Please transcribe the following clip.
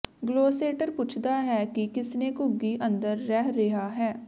Gloucester ਪੁੱਛਦਾ ਹੈ ਕਿ ਕਿਸਨੇ ਘੁੱਗੀ ਅੰਦਰ ਰਹਿ ਰਿਹਾ ਹੈ